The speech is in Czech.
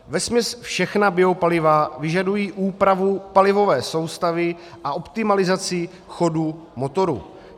Vesměs všechna biopaliva vyžadují úpravu palivové soustavy a optimalizaci chodu motoru.